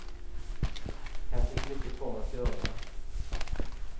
Här finns mycket kvar att göra.